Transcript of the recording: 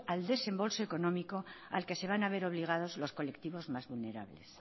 al desembolso económico al que se van a ver obligados los colectivos más vulnerables